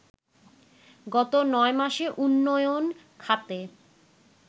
গত ৯ মাসে উন্নয়ন খাতে